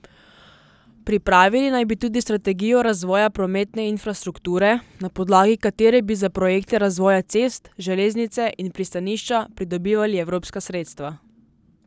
Pripravili naj bi tudi strategijo razvoja prometne infrastrukture, na podlagi katere bi za projekte razvoja cest, železnice in pristanišča pridobivali evropska sredstva.